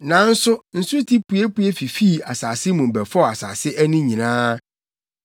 Nanso nsuti puepue fifii asase mu bɛfɔw asase ani nyinaa.